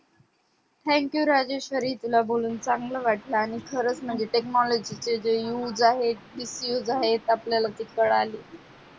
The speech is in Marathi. thank you राजेश्वरी तुला बोलून चांगले वाटल आणि खरंच म्हणजे जे technology चे जे used आहे miss used आहे ते कळले